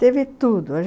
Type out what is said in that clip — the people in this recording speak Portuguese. Teve tudo.